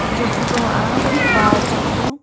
eja photo a bar changpu.